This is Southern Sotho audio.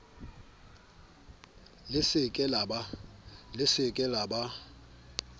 le se ke la ba